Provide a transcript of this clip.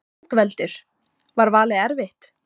Ingveldur: Var valið erfitt?